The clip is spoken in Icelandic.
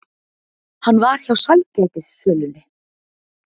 Hann var hjá sælgætissölunni.